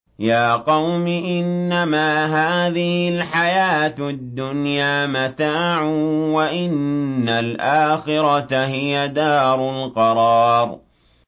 يَا قَوْمِ إِنَّمَا هَٰذِهِ الْحَيَاةُ الدُّنْيَا مَتَاعٌ وَإِنَّ الْآخِرَةَ هِيَ دَارُ الْقَرَارِ